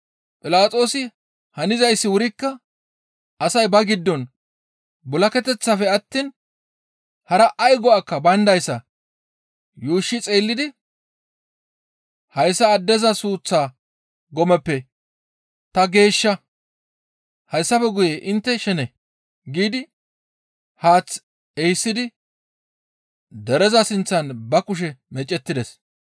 Philaxoosi hanizayssi wurikka asay ba giddon bul7aketeththafe attiin hara ay go7ay bayndayssa yuushshi xeellidi, «Hayssa addeza suuththaa gomeppe ta geeshsha; hayssafe guye intte shene» giidi haath ehisidi dereza sinththan ba kushe meecettides.